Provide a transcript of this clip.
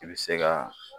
I bɛ se ka